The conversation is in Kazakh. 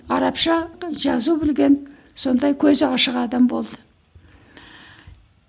арабша жазу білген сондай көзі ашық адам болды